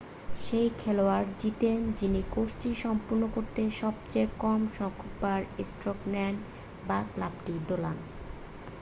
সে খেলোয়াড় জিতেন যিনি কোর্সটি সম্পন্ন করতে সবচেয়ে কম সংখ্যকবার স্ট্রোক নেন বা ক্লাবটি দোলান